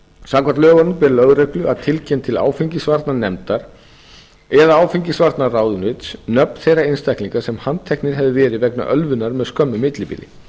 samkvæmt lögunum ber lögreglu að tilkynna til áfengisvarnanefndar eða áfengisvarnaráðunauts nöfn þeirra einstaklinga sem handteknir hefðu verið vegna ölvunar með skömmu millibili